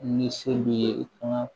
Ni se bi ye i fana